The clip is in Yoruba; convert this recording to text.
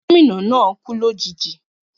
Gómìnà náà kú lòjijì